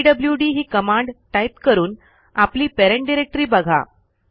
PWD ही command type करून आपली पॅरेंट डायरेक्टरी बघा